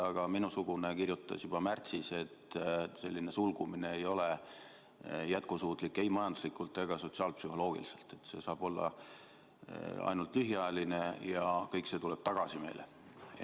Ka minusugune kirjutas juba märtsis, et selline sulgumine ei ole jätkusuutlik ei majanduslikult ega sotsiaalpsühholoogiliselt, et see saab olla ainult lühiajaline ja kõik see tuleb meile tagasi.